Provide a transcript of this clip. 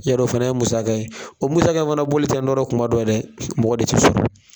Y'a dɔ o fana ye musaka ye, o musaka fana bɔli tɛ kuma dɔ ye dɛ mɔgɔ de ti sɔrɔ.